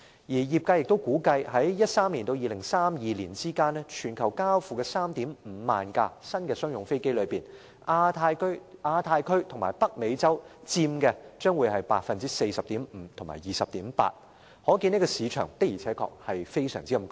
而業界更預期在2013年至2032年間，全球交付的 35,000 架新商用飛機當中，亞太區和北美洲分別佔 40.5% 和 20.8%， 可見市場的確非常龐大。